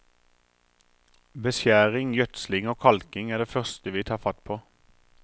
Beskjæring, gjødsling og kalking er det første vi tar fatt på.